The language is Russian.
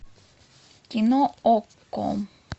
кино окко